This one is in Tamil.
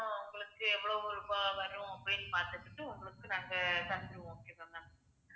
உங்களுக்கு எவ்வளவு ரூபாய் வரும், அப்படின்னு பார்த்துக்கிட்டு உங்களுக்கு நாங்க தந்துருவோம் okay வா ma'am